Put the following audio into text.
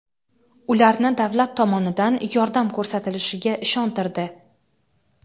ularni davlat tomonidan yordam ko‘rsatilishiga ishontirdi.